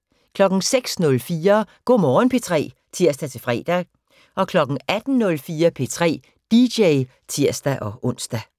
06:04: Go' Morgen P3 (tir-fre) 18:04: P3 dj (tir-ons)